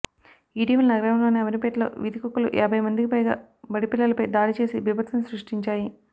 ఇటీవల నగరంలోని అమీర్పేటలో వీధికుక్కలు యాభై మందికి పైగా బడిపిల్లలపై దాడిచేసి బీభత్సం సృష్టించాయి